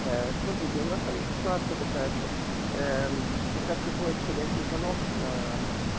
смотрите у нас там ситуация такая что когда приходит входящий звонок на